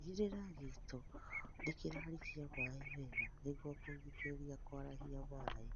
Tigĩrĩra gĩito nĩkĩrarikia maĩĩ wega nĩguo kũgirĩrĩria kũarahia maĩĩ